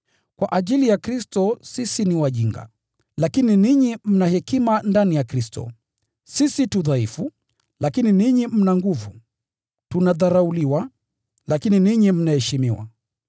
Kwa ajili ya Kristo sisi ni wajinga, lakini ninyi mna hekima sana ndani ya Kristo. Sisi tu dhaifu, lakini ninyi mna nguvu. Tunadharauliwa, lakini ninyi mnaheshimiwa.